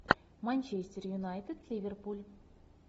манчестер юнайтед ливерпуль